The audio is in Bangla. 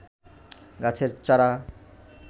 গাছের চারা